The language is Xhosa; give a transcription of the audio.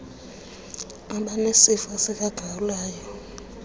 abanesifo sika gawulayo